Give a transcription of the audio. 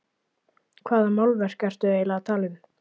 Hvaða málverk ertu eiginlega að tala um?